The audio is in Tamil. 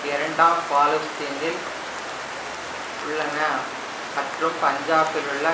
இரண்டாம் பலோசிஸ்தினில் உள்ளன மற்றும் பஞ்சாபிலுள்ள